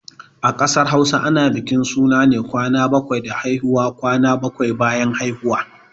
A ƙasar Hausa ana bukin suna ne bayan kwan bakwai da haihuwa. kwana bakwai bayan haihuwa